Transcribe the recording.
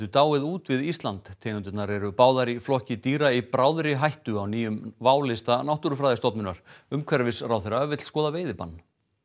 dáið út við Ísland tegundirnar eru báðar í flokki dýra í bráðri hættu á nýjum válista Náttúrufræðistofnunar umhverfisráðherra vill skoða veiðibann